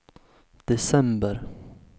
december